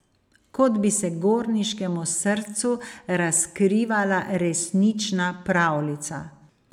Kot bi se gorniškemu srcu razkrivala resnična pravljica.